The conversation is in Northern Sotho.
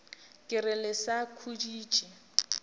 ke re le sa khuditše